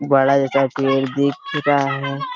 बड़ा जैसा पेड़ दिख रहा है |